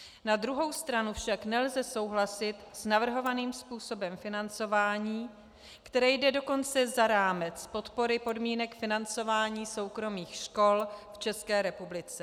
Na druhou stranu však nelze souhlasit s navrhovaným způsobem financování, které jde dokonce za rámec podpory podmínek financování soukromých škol v České republice.